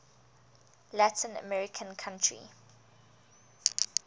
latin american country